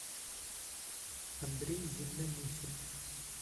андрей землянухин